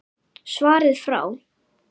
Svarið frá